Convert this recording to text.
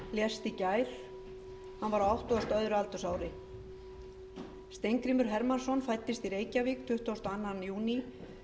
í gær hann var á áttugasta og öðru aldursári steingrímur hermannsson fæddist í reykjavík tuttugasta og öðrum júní